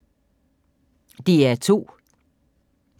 DR2